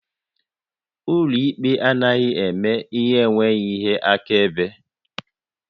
Ụlọ ikpe anaghị eme ihe n'enweghị ihe akaebe